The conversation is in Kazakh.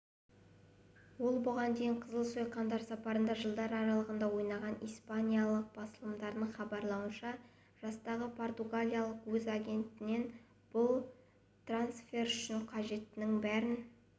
ол бұған дейін қызыл сойқандар сапында жылдар аралығында ойнаған испаниялық басылымдардың хабарлауынша жастағы португалиялық өз агентінен бұл трансфер үшін қажеттінің бәрін